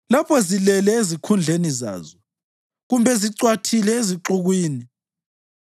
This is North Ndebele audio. lapho zilele ezikhundleni zazo kumbe zicwathile ezixukwini?